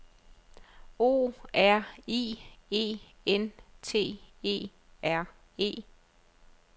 O R I E N T E R E